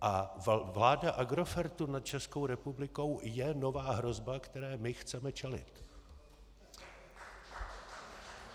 A vláda Agrofertu nad Českou republikou je nová hrozba, které my chceme čelit.